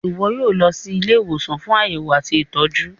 iwọ yíò lọ sì Ilé ìwòsàn fún Àyẹwò àti ìtọjú.